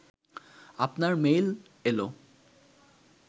আপনার মেইল এল